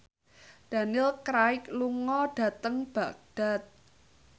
Daniel Craig lunga dhateng Baghdad